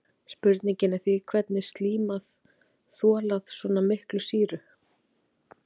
Spurningin er því hvernig getur slíman þolað svona mikla sýru?